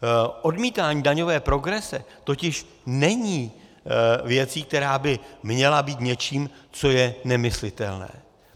Odmítání daňové progrese totiž není věcí, která by měla být něčím, co je nemyslitelné.